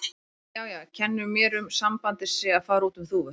Já, já, kenna mér um að sambandið sé að fara út um þúfur.